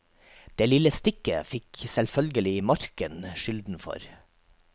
Det lille stikket fikk selvfølgelig marken skylden for.